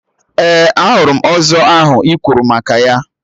Ee, ahụrụ m ọzọ ahụ ị kwuru maka ya